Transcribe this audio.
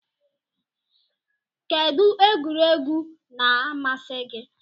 Kedu egwuregwu na amasi gi?